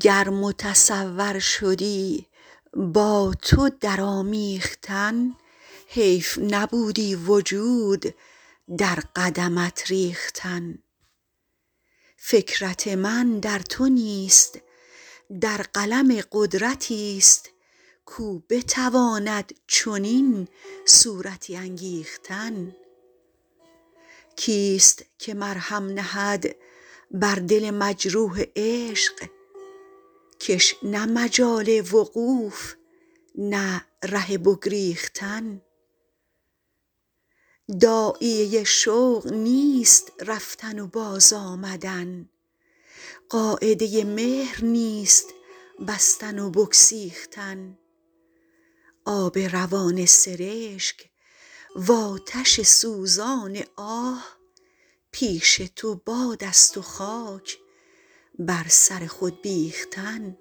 گر متصور شدی با تو در آمیختن حیف نبودی وجود در قدمت ریختن فکرت من در تو نیست در قلم قدرتی ست کاو بتواند چنین صورتی انگیختن کی ست که مرهم نهد بر دل مجروح عشق که ش نه مجال وقوف نه ره بگریختن داعیه شوق نیست رفتن و باز آمدن قاعده مهر نیست بستن و بگسیختن آب روان سرشک وآتش سوزان آه پیش تو باد است و خاک بر سر خود بیختن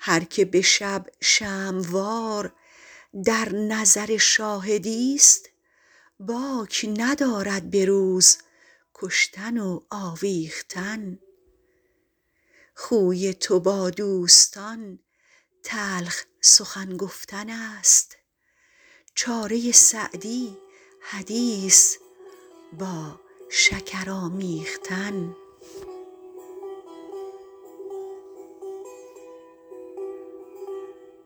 هر که به شب شمع وار در نظر شاهدی ست باک ندارد به روز کشتن و آویختن خوی تو با دوستان تلخ سخن گفتن است چاره سعدی حدیث با شکر آمیختن